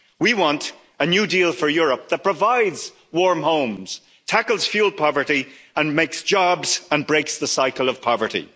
rot. We want a new deal for Europe that provides warm homes, tackles fuel poverty and makes jobs and breaks the cycle of poverty.